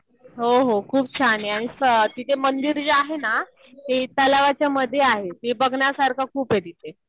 हो हो. खूप छान आहे. आणि तिथे मंदिर जे आहे ना ते तलावाच्या मध्ये आहे. ते बघण्यासारखं खूप आहे तिथे.